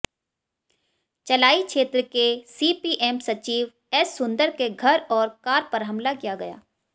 चलाई क्षेत्र के सीपीएम सचिव एस सुंदर के घर और कार पर हमला किया गया